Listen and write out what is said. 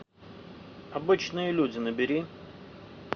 обычные люди набери